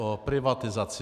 O privatizaci.